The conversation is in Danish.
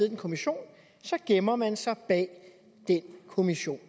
en kommission så gemmer man sig bag den kommission